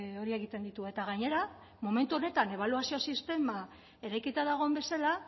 hori egiten ditu eta gainera momentu honetan ebaluazio sistema eraikita dagoen bezala